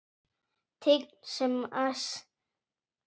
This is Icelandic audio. Tign sem æðsta ber.